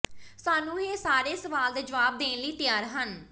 ਸਾਨੂੰ ਇਹ ਸਾਰੇ ਸਵਾਲ ਦੇ ਜਵਾਬ ਦੇਣ ਲਈ ਤਿਆਰ ਹਨ